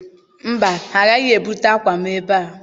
Mba, ha agaghị ebuta akwa m ebe a.